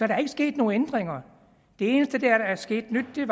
er ikke sket nogen ændringer det eneste der er sket af nyt er